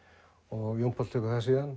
og Jón Páll tekur það síðan